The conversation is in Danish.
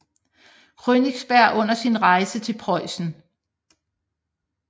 Königsberg under sin rejse til Preussen